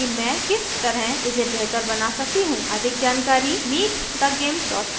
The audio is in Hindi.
अधिक जानकारी